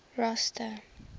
rosta